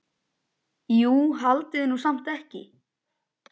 Jú, haldiði nú samt ekki.